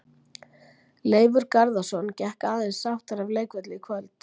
Leifur Garðarsson gekk aðeins sáttari af leikvelli í kvöld.